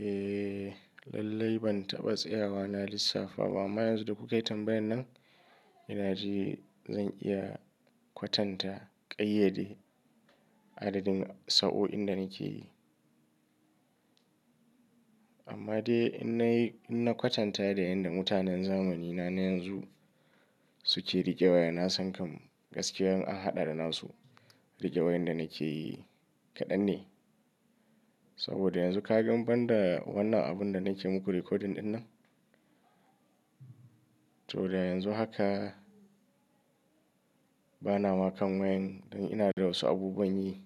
Eh, lallai ban taɓa tsayawa na lissafa ba. Amma yanzu da kuka yi tambayar nan, ina ji zan iya kwatanta ƙayyade adadin sa'o'in da nake yi. Amma dai in na yi, in na kwatanta da yanda mutanen zamanina na yanzu suke riƙe waya, na san kam, gaskiya in an haɗa da nasu, riƙe wayan da nake yi, kaɗan ne. Saboda yanzu ka gan banda, wannan abun da nake muku recording ɗin nan, to da yanzu haka bana ma kan wayan, don ina da wasu abubuwan yi,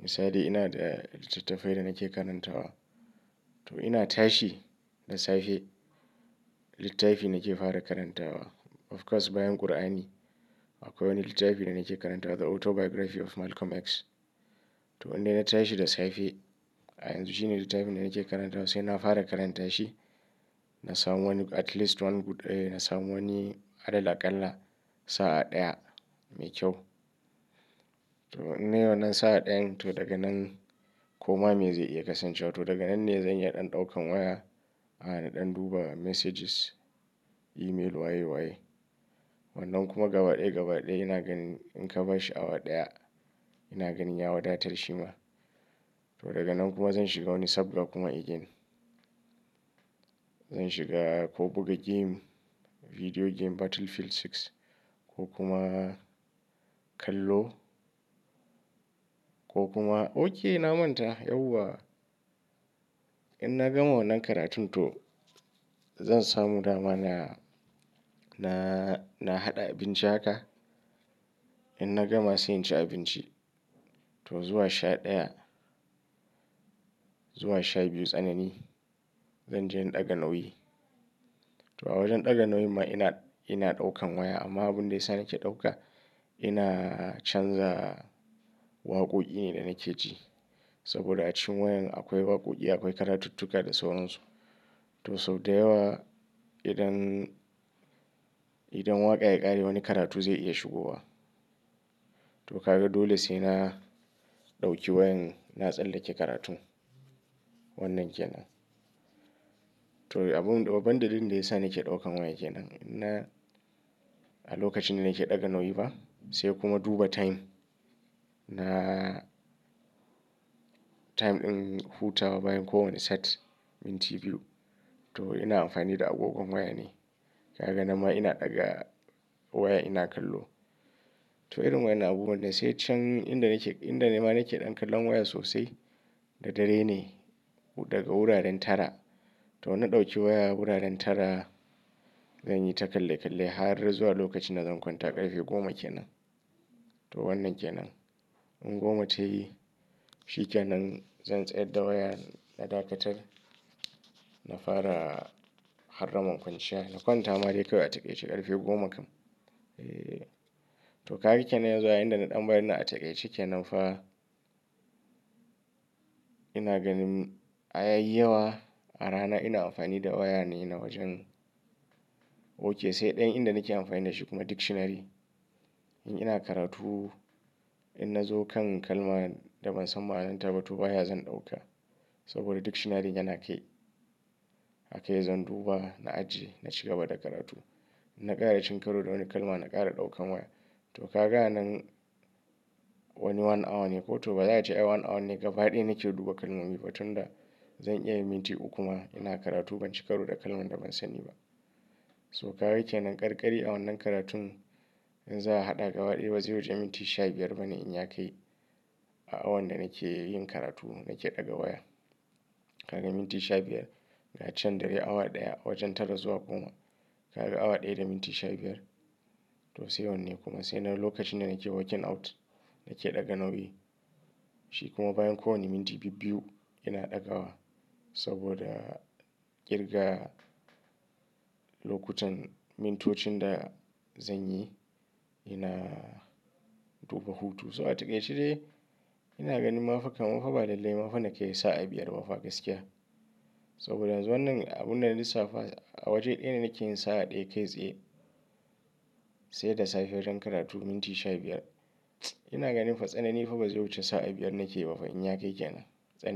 Misali ina da littattafai da nake karantawa. To ina tashi da safe, littafi nake fara karantawa. Of course bayan Kur'ani, akwai wani littafi da nake karantawa. The Autobiography of Malcolm X. To inda na tashi da safe, a yanzu shine littafin da nake karantawa sai na fara karanta shi. Na samu wani at least one good, eh na samu wani, alal-aƙalla, sa'a ɗaya mai kyau. To in nai wannan sa'a ɗayan to daga nan, koma me zai iya kasancewa. To daga nan ne zan yi ɗan ɗaukan waya, ana ɗan duba messages, email waye waye. Wannan kuma gaba ɗaya gaba ɗaya ina ganin, in ka bashi awa ɗaya, ina ganin ya wadatar shi ma. To daga nan kuma zan shiga wani sabgan kuma again. Zan shiga ko buga game, video game Battlefield Six, ko kuma kallo, ko kuma, okay na manta yauwa, in na gama wannan karatun to zan samu dama na, na, na haɗa abinci haka, In na gama sai in ci abinci. To zuwa sha ɗaya, zuwa sha biyu tsanani, zan je in ɗaga nauyi. To a wajen ɗaga nauyin ma ina, ina ɗaukan waya, amma abun da ya sa nake ɗauka, ina canza waƙoƙi ne da nake ji. Saboda a cikin wayan akwai waƙoƙi, akwai karatu-tuka da sauran su. To sau da yawa idan, idan waƙa ya ƙare wani karatu zai iya shigowa. To ka ga dole sai na ɗauki wayan, na tsallake karatun, wannan ke nan. To abun, babban dalilin da ya sa nake ɗaukan waya ke nan. Na a lokacin da nake ɗaga nauyi ba, sai kuma duba time na time ɗin hutawa bayan kowane set, minti biyu. To ina amfani da agogon waya na. Kaga nan ma ina ɗaga waya ina kallo. To irin waƴannan abubuwan dai sai can inda nake, inda ma nake ɗan kallon waya sosai, da dare ne, daga wuraren tara. To na ɗauki waya wuraren tara, zan yi ta kalle kalle, har zuwa lokacin da zan kwanta ƙarfe goma kenan. To wannan ke nan. In goma ta yi, shi ke nan zan tsayar da waya, na dakatar, na fara harramar kwanciya. Na kwanta ma dai kawai a taƙaitace ƙarfe goma kam. To ka ga ke nan yanzu da na ɗan bari na a taƙaitacce kenan fa, ina ganin a yayi yawa, a rana ina amfani da waya ne na wajen, okay sai ɗayan inda nake amfani da shi kuma dictionary. In ina karatu, in na zo kan kalma da ban san ma'anar ta ba, to waya zan ɗauka. Saboda dictionary yana kai. A kai zan duba, na ajjiye, na ci gaba da karatu. Na ƙara cinkaro da wani kalma, na ƙara ɗaukan waya. To ka ga a nan, wani one hour ne ko to ba za a ce ai one hour ne gaba ɗaya nake duba kalmomi ba tun da, zan iya yin minti uku ma ina karatu, ban ci karo da kalman da ban sani ba. To ka ga ke nan ƙarƙari a wannan karatun, in za a haɗa gaba ɗaya ba zai wuce minti sha biyar ba ne in ya kai, a awan da nake yin karatu nake ɗaga waya. Kaga minti sha biyar, ga can dare awa ɗaya, wajen tara zuwa goma. Kaga awa ɗaya da minti sha biyar. To sai wannan ne kuma, sai nan lokacin da nake working out, nake ɗaga nauyi? Shi kuma bayan kowane minti bibbiyu ina ɗaga waya. Saboda, ƙirga lokutan mintocin da zan yi ina duba hutu. So a taƙaitace dai ina ganin mafa kamar fa ba lallai mafa nake yi sa'a biyar mafa gaskiya. Saboda yanzu wannan abun na lissafa, a waje ɗaya ne nake yin sa'a ɗaya kai tsaye, sai da safe wajen karatu minti sha biyar. Ina ganin fa tsanani fa ba zai wuce sa'a biyar nake ba fa, in ya kai ke nan. Tsanani.